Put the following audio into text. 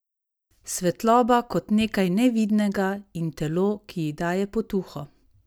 Svetloba kot nekaj nevidnega, in telo, ki ji daje potuho!